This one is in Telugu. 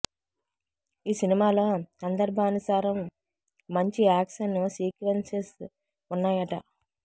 ఈ సినిమాలో సందర్భానుసారం మంచి యాక్షన్ సీక్వెన్స్ స్ ఉన్నాయట